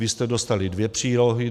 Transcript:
Vy jste dostali dvě přílohy.